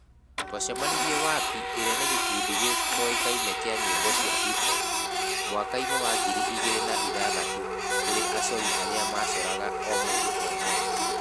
Twacemanirie WAPI ĩrĩa nĩ gĩkundi gĩtoĩkaine kĩa nyĩmbo cia hip-hop, mwaka-inĩ wa ngiri igĩrĩ na ithathatũ tũrĩ acori arĩa macoraga o mũndũ e mwene.